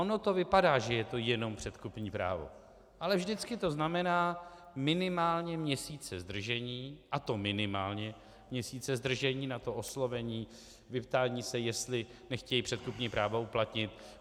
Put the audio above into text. Ono to vypadá, že je to jenom předkupní právo, ale vždycky to znamená minimálně měsíce zdržení, a to minimálně měsíce zdržení na to oslovení, vyptání se, jestli nechtějí předkupní právo uplatnit.